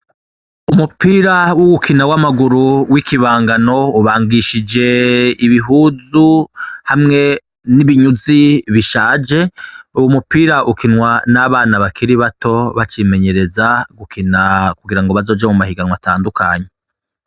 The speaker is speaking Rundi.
Umupira wugukina w'amaguru w'iki bangano, ubangishije ibihundu hamwe n'ibinyuzi bishaje, uwo mupira ukinwa n'abana bakiri bato bacimenyereza gukina kugira bazoje mumahiganwa atandukanye.